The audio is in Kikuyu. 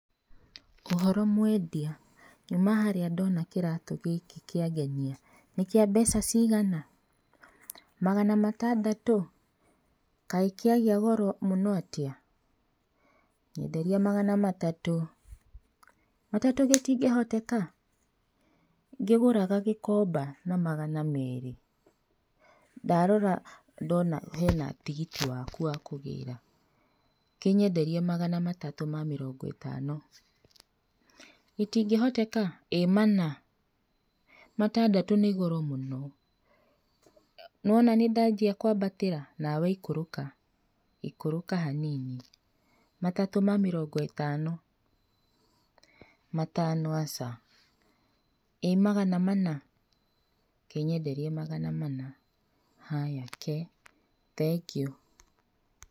Ũhoro mwendia? Nyuma harĩa ndona kĩratũ gĩkĩ ngĩangenia nĩkĩa mbeca cigana? Magana matandatũ kaĩ kĩagĩa goro mũno atĩa? Nyenderia magana matatũ, matatũ gĩtingĩhoteka ngĩgũraga gĩkomba na magana merĩ ndarora ndona hena tigiti waku wa kũgĩra kĩnyenderie magana matatũ ma mĩrongo ĩtano. Gĩtingĩhoteka ĩ mana matandatũ nĩ goro mũno nĩwona nĩndanjia kwambatĩra nawe ikũrũka, ikũrũka hanini matatũ ma mĩrongo ĩtano. Matano aca. ĩ magana mana kĩnyenderie magana mana, haya kee thengiũ.